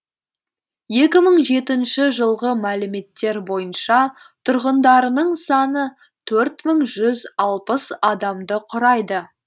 екі мың жетінші жылғы мәліметтер бойынша тұрғындарының саны төрт мың жүз алпыс адамды құрайды